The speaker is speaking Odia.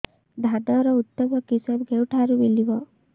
ଧାନର ଉତ୍ତମ କିଶମ କେଉଁଠାରୁ ମିଳିବ